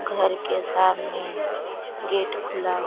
घर के सामने गेट खुला --